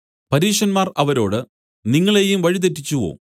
പരീശന്മാർ അവരോട് നിങ്ങളെയും വഴിതെറ്റിച്ചുവോ